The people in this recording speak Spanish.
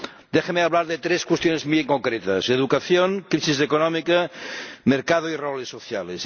Déjenme hablar de tres cuestiones muy concretas educación, crisis económica y mercado y roles sociales.